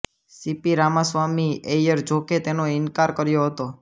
C P Ramaswamy ઐયરે જોકે તેનો ઇનકાર કર્યો હતો